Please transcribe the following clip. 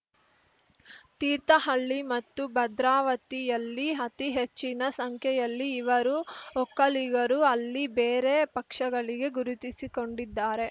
ತೀರ್ಥಹಳ್ಳಿ ಮತ್ತು ಭದ್ರಾವತಿಯಲ್ಲಿ ಹತಿ ಹೆಚ್ಚಿನ ಸಂಖ್ಯೆಯಲ್ಲಿ ಇವರು ಒಕ್ಕಲಿಗರು ಅಲ್ಲಿ ಬೇರೆ ಪಕ್ಷಗಳಿಗೆ ಗುರುತಿಸಿಕೊಂಡಿದ್ದಾರೆ